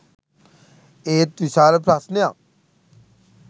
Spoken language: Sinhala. ඒත් විශාල ප්‍රශ්නයක්